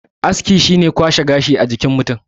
aski shi ne kwashe gashi a jikin mutum